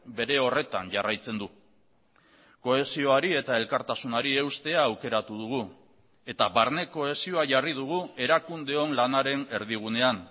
bere horretan jarraitzen du kohesioari eta elkartasunari eustea aukeratu dugu eta barne kohesioa jarri dugu erakundeon lanaren erdigunean